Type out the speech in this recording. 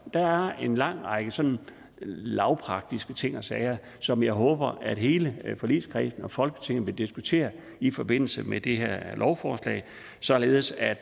der er en lang række sådan lavpraktiske ting og sager som jeg håber hele forligskredsen og folketinget vil diskutere i forbindelse med det her lovforslag således at